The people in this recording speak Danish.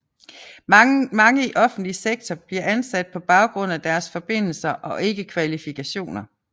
Mange i offentlig sektor bliver ansat på baggrund af deres forbindelser og ikke kvalifikationer